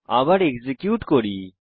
আবার এক্সিকিউট করি